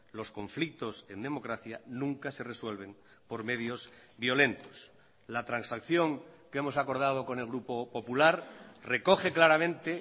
los conflictos en democracia nunca se resuelven por medios violentos la transacción que hemos acordado con el grupo popular recoge claramente